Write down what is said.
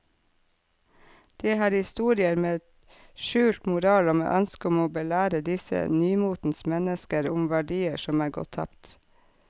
Det er historier med skjult moral og med ønske om å belære disse nymotens mennesker om verdier som er gått tapt.